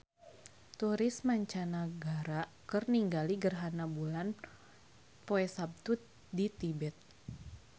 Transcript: Turis mancanagara keur ningali gerhana bulan poe Saptu di Tibet